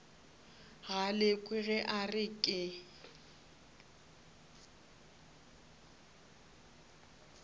galekwe ge a re ke